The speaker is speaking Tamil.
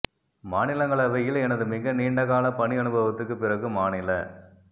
மாநிலங்களவையில் எனது மிக நீண்ட கால பணி அனுபவத்துக்குப் பிறகு மாநில